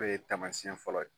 N'o ye taamasiyɛn fɔlɔ ye.